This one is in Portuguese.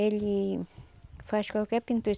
Ele faz qualquer pintura.